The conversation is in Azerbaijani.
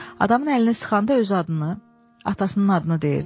Adamın əlini sıxanda özü adını, atasının adını deyirdi.